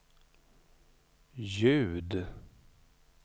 ljud